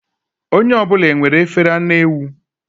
Onye ọ bụla enwere efere anụ ewu?